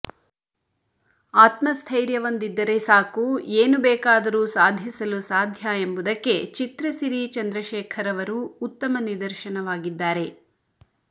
ಆತ್ಮಸ್ಥೈರ್ಯವೊಂದಿದ್ದರೆ ಸಾಕು ಏನು ಬೇಕಾದರೂ ಸಾಧಿಸಲು ಸಾಧ್ಯ ಎಂಬುದಕ್ಕೆ ಚಿತ್ರಸಿರಿ ಚಂದ್ರಶೇಖರ್ ಅವರು ಉತ್ತಮ ನಿದರ್ಶನವಾಗಿದ್ದಾರೆ